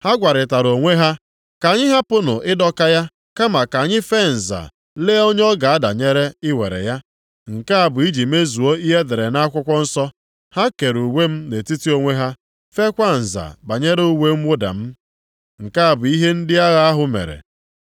Ha gwarịtara onwe ha, “Ka anyị hapụnụ ịdọka ya, kama ka anyị fee nza lee onye ọ ga-adanyere i were ya.” Nke a bụ iji mezuo ihe e dere nʼakwụkwọ nsọ, “Ha kere uwe m nʼetiti onwe ha, feekwa nza banyere uwe mwụda m.” + 19:24 \+xt Abụ 22:18\+xt* Nke a bụ ihe ndị agha ahụ mere.